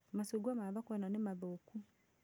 Machungwa ma thoko ĩno nĩ mathũku